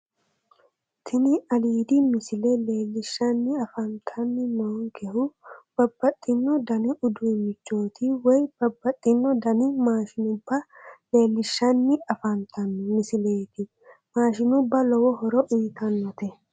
Tini aliidi misile leellishshanni afantanni noonkehu babbaxxino dani uduunnichooti woyi babbaxxino dani maashinubba leellishshanni afantanno misileeti maashinubba lowo horo uyitannote